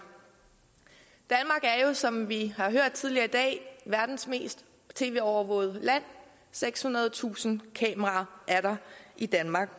er jo som vi har hørt det tidligere i dag verdens mest tv overvågede land sekshundredetusind kameraer er der i danmark